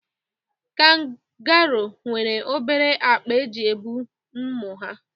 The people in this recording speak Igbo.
Kangaroo nwere obere akpa eji ebu ụmụ ha